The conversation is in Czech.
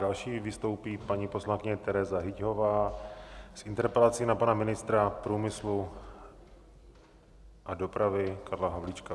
Další vystoupí paní poslankyně Tereza Hyťhová s interpelací na pana ministra průmyslu a dopravy Karla Havlíčka.